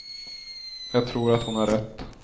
Jag tror att hon har rätt.